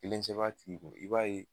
Kelen sɛbɛn a tigi kun i b'a ye